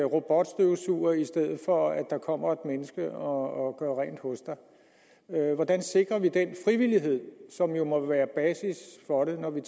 robotstøvsuger i stedet for at der kommer et menneske og gør rent hos dig hvordan sikrer vi den frivillighed som jo må være basis for det når vi